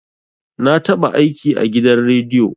Na taɓa aiki a gidan rediyo